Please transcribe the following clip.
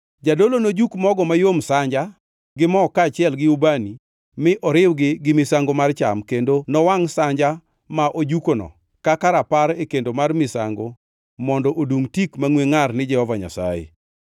Jadolo nojuk mogo mayom sanja gi mo kaachiel gi ubani mi oriwgi gi misango mar cham, kendo nowangʼ sanja ma ojukono kaka rapar e kendo mar misango mondo odungʼ tik mangʼwe ngʼar ni Jehova Nyasaye.